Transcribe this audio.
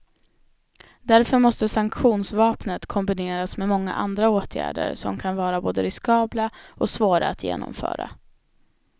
Därför måste sanktionsvapnet kombineras med många andra åtgärder som kan vara både riskabla och svåra att genomföra.